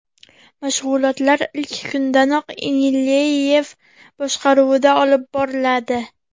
Mashg‘ulotlar ilk kundanoq Inileyev boshqaruvida olib boriladi.